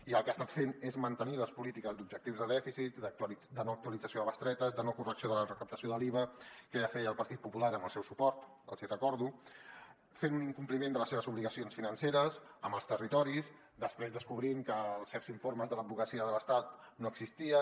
i el que ha estat fent és mantenir les polítiques d’objectius de dèficit de no actualització de bestretes de no correcció de la recaptació de l’iva que ja feia el partit popular amb el seu suport els hi recordo fent un incompliment de les seves obligacions financeres amb els territoris després descobrint que certs informes de l’advocacia de l’estat no existien